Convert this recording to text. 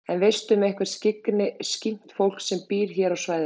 En veistu um eitthvert skyggnt fólk sem býr hér á svæðinu?